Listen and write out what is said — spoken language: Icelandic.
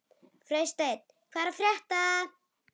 Freysteinn, hvað er að frétta?